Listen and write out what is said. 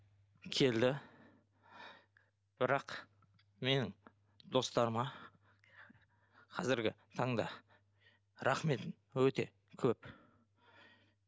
келді бірақ менің достарыма қазіргі таңда рахметім өте көп